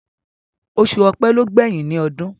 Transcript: Osù ọ̀pẹ ló gbẹ̀yìn ní ọdún